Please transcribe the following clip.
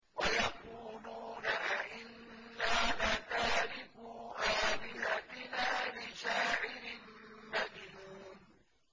وَيَقُولُونَ أَئِنَّا لَتَارِكُو آلِهَتِنَا لِشَاعِرٍ مَّجْنُونٍ